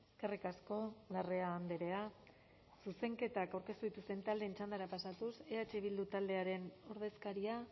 eskerrik asko larrea andrea zuzenketak aurkeztu dituzten taldeen txandara pasatuz eh bildu taldearen ordezkaria